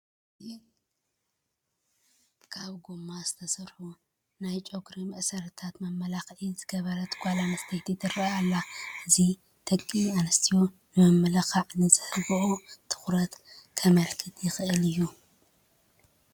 ካብ ጐማ ዝተሰርሑ ናይ ጨጉሪ መእሰርታትን መመላዕን ዝገበረት ጓል ኣነስተይቲ ትርአ ኣላ፡፡ እዚ ደቂ ኣነስትዮ ንምምልላዕ ንዝህብኦ ትኹረት ከምልክት ይእኽእል እዩ፡፡